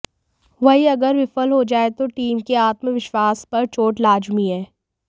वही अगर विफल हो जाएं तो टीम के आत्मविश्वास पर चोट लाजमी है